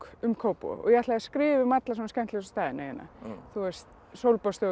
um Kópavog og ég ætlaði að skrifa um alla skemmtilegustu staðina hérna